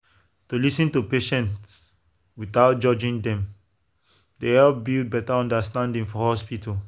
to lis ten to patients without judging dem dey help build better understanding for hospital.